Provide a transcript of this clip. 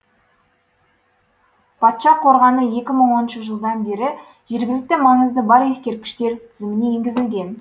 патша қорғаны екі мыі оныншы жылдан бері жергілікті маңызы бар ескерткіштер тізіміне енгізілген